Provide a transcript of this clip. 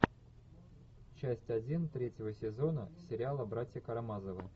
часть один третьего сезона сериала братья карамазовы